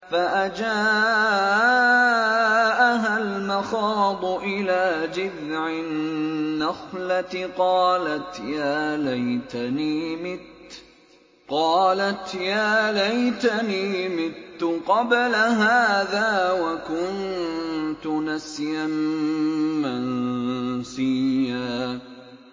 فَأَجَاءَهَا الْمَخَاضُ إِلَىٰ جِذْعِ النَّخْلَةِ قَالَتْ يَا لَيْتَنِي مِتُّ قَبْلَ هَٰذَا وَكُنتُ نَسْيًا مَّنسِيًّا